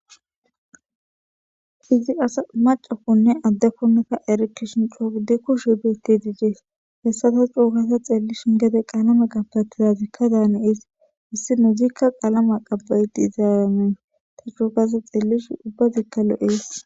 Izzi asasi macakonn adekonni taa erekishshin coo gidi kushsheyi betidi dees .hessappe coo gidi xelishshin gede qalameyi qabatiyakka de'ees issinazikka qalama qaba'iddi des.taa coo gada xeelishinn ubazikka lo'ees.